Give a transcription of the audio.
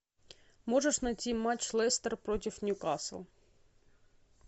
можешь найти матч лестер против ньюкасл